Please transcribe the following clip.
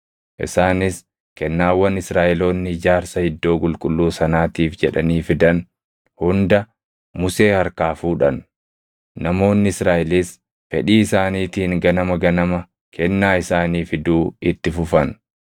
Isaanis kennaawwan Israaʼeloonni ijaarsa iddoo qulqulluu sanaatiif jedhanii fidan hunda Musee harkaa fuudhan. Namoonni Israaʼelis fedhii isaaniitiin ganama ganama kennaa isaanii fiduu itti fufan.